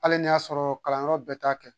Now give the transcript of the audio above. Hali n'a y'a sɔrɔ kalanyɔrɔ bɛɛ t'a kɛ